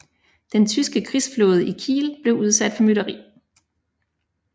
Den tyske krigsflåde i Kiel blev udsat for mytteri